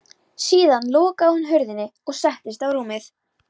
Síðan lokaði hún hurðinni og settist á rúmið.